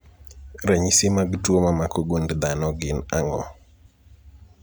Ranyisi mag tuo mamako gund dhano gin ang'o?